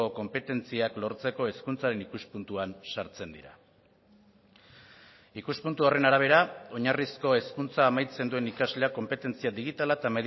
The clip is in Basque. konpetentziak lortzeko hezkuntzaren ikuspuntuan sartzen dira ikuspuntu horren arabera oinarrizko hezkuntza amaitzen duen ikasleak konpetentzia digitala eta